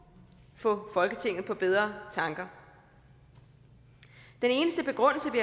få folketinget på bedre tanker den eneste begrundelse vi